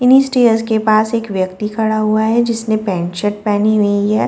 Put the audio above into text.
इन्हीं स्टेयर्स के पास एक व्यक्ति खड़ा हुआ है जिसने पैंट शर्ट पहनी हुई है।